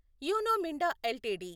you know Minda LTD